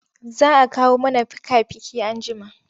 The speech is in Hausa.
Za a kawo mana fika-fiki anjima.